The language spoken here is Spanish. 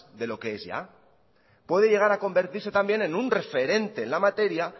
de lo que es ya puede llegar a convertirse también en un referente en la materia